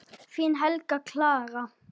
Þín Helga Clara.